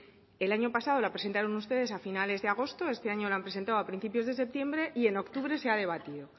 el año pasado la presentaron ustedes a finales de agosto este año lo han presentado a principios de septiembre y en octubre se ha debatido